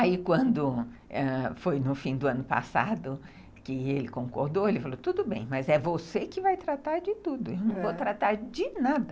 Aí, quando foi no fim do ano passado, que ele concordou, ele falou, tudo bem, mas é você que vai tratar de tudo, eu não vou tratar de nada.